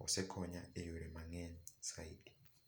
osekonya e yore mang'eny saidi.